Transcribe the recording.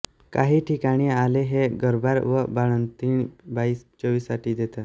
काही ठिकाणी आले हे गर्भार व बाळंतीण बाईस चवीसाठी देतात